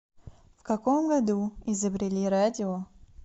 в каком году изобрели радио